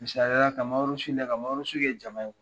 Misaliya ka kɛ jama ye